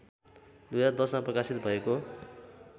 २०१०मा प्रकाशित भएको